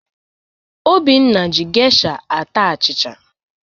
Obinna ji geisha ata achịcha.